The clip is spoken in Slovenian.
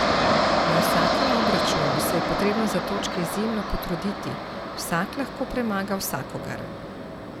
Na vsakem obračunu se je potrebno za točke izjemno potruditi, vsak lahko premaga vsakogar.